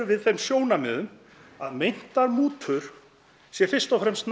við þeim sjónarmiðum að meintar mútur séu fyrst og fremst